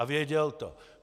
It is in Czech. A věděl to.